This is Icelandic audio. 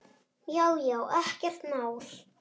Já já, ekkert mál.